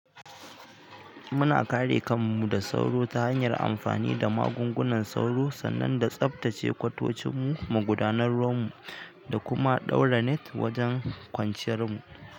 Muna kare kanmu da sauro ta hanyar amfani da magungunan sauro sannan da tsabtace kwatocinmu, magudanar ruwanmu da kuma ɗaura net wajen kwanciyar mu.